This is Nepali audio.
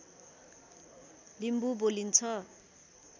लिम्बू बोलिन्छ